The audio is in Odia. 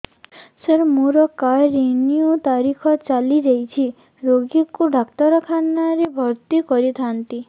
ସାର ମୋର କାର୍ଡ ରିନିଉ ତାରିଖ ଚାଲି ଯାଇଛି ରୋଗୀକୁ ଡାକ୍ତରଖାନା ରେ ଭର୍ତି କରିଥାନ୍ତି